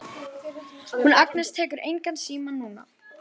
Hún Agnes tekur engan síma núna.